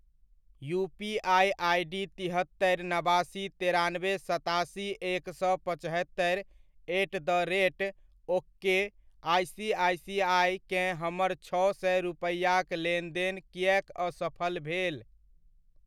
UPI ID तिहत्तरि नबासी तेरानबे सतासी एक सए पचहत्तरि एट द रेट ओकेआइसीआइसीआइ केँ हमर छओ सए रूपैआक लेनदेन किएक असफल भेल?